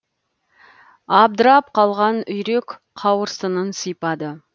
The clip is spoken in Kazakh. абдырап қалған үйрек қауырсынын сипады